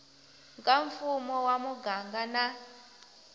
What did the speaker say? ka mfumo wa muganga na